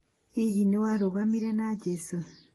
Hihi nĩwarũgamire na Jesu .